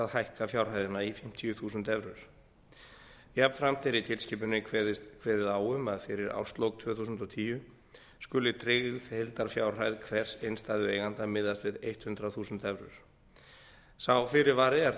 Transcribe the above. hækka fjárhæðina í fimmtíu þúsund evrur jafnframt er í tilskipuninni kveðið á um að fyrir árslok tvö þúsund og tíu skuli tryggð heildarfjárhæð hvers innstæðueiganda miðast við hundrað þúsund evrur sá fyrirvari er þó